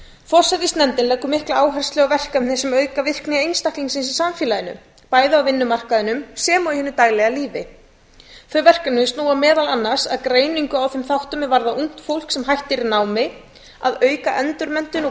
forsætisnefndin leggur mikla áherslu á verkefni sem auka virkni einstaklingsins í samfélaginu bæði á vinnumarkaðnum og hinu daglega lífi þau verkefni snúa meðal annars að greiningu á þeim þáttum er varða ungt fólk sem hættir námi að auka endurmenntun og